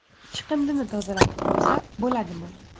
Chiqindini tozalatib qo‘ysa bo‘ladimi?